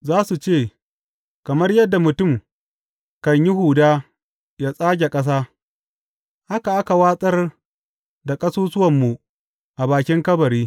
Za su ce, Kamar yadda mutum kan yi huda yă tsage ƙasa, haka aka watsar da ƙasusuwanmu a bakin kabari.